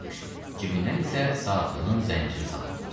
Cibindən isə saatının zənciri sallanırdı.